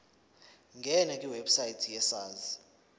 ngena kwiwebsite yesars